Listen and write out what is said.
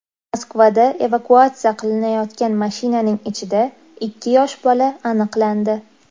Moskvada evakuatsiya qilinayotgan mashinaning ichida ikki yosh bola aniqlandi.